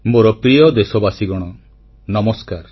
ମୋର ପ୍ରିୟ ଦେଶବାସୀଗଣ ନମସ୍କାର